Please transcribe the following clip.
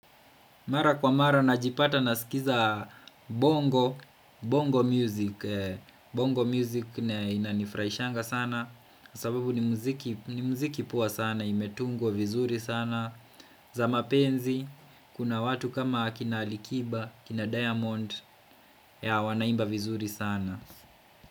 Mara kwa mara najipata nasikiliza bongo, bongo music, bongo music huwa inanifurahisha sana sababu ni muziki poa sana, imetungwa vizuri sana. Za mapenzi, kuna watu kama akina Alikiba, akina Diamond, yeah wanaimba vizuri sana.